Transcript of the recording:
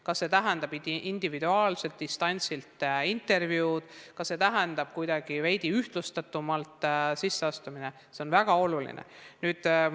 Kas see tähendab individuaalset distantsilt intervjuud, kas see tähendab kuidagi veidi ühtlustatumalt sisseastumist – seda on väga oluline teada.